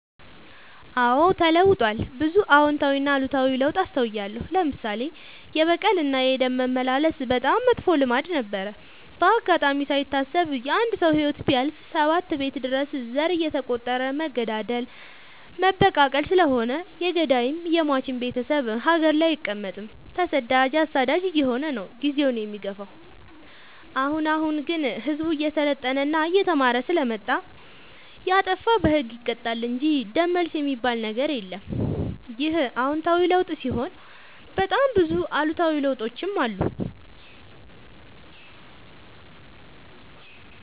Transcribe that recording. አዎድ ተለውጧል ብዙ አዎታዊ እና አሉታዊ ለውጥ አስታውያለሁ። ለምሳሌ፦ የበቀል እና የደም መመላለስ በጣም መጥፎ ልማድ ነበረ። በአጋጣሚ ካይታሰብ የአንድ ሰው ህይወት ቢያልፍ ሰባት ቤት ድረስ ዘር እየተ ቆጠረ መገዳደል መበቃቀል ስለሆነ የገዳይም የሞችም ቤቴሰብ ሀገር ላይ አይቀ መጥም ተሰዳጅ አሳዳጅ አየሆነ ነው። ጊዜውን የሚገፋው። አሁን አሁን ግን ህዝቡ እየሰለጠና እየተማረ ስለመጣ። የጣፋ በህግ ይቀጣል እንጂ ደም መልስ የሚበል ነገር የለም ይህ አዎታዊ ለውጥ ሲሆን በጣም ብዙ አሉታዊ ለውጦችም አሉ።